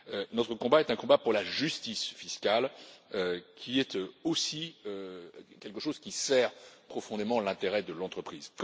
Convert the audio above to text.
Notre combat est un combat pour la justice fiscale, qui est aussi quelque chose qui sert profondément l'intérêt de l'entreprise.